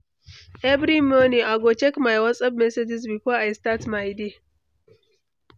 Every morning, I go check my WhatsApp messages before I start my day.